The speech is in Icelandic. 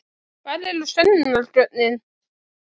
Hvar eru sönnunargögnin?